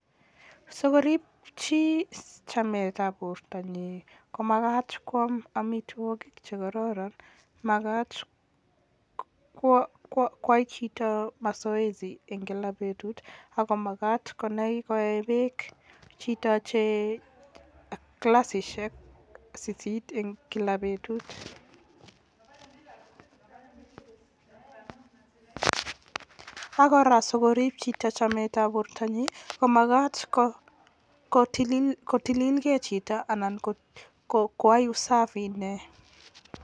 Sikoriip chi chametab bortonyin komakat kwaam amitwokik che kororon, makat kwai chito mazoezi eng kila betut ako makat koee beek chito che klasisiek sisit eng kila betut ak kora sikoriip chito chemetab bortonyin komakat kotililkei chito anan koyai usafi inee.